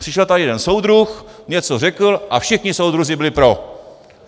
Přišel tady jeden soudruh, něco řekl a všichni soudruzi byli pro.